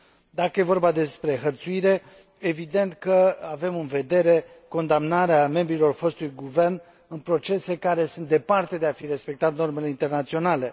Dacă e vorba despre hărțuire, evident că avem în vedere condamnarea membrilor fostului guvern în procese care sunt departe de a fi respectat normele internaționale.